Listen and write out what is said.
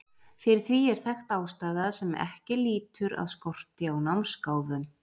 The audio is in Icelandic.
Fyrir því er þekkt ástæða sem ekki lýtur að skorti á námsgáfum.